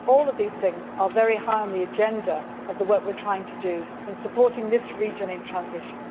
All of these things are very high on the agenda of the work we are trying to do in supporting this region in transition.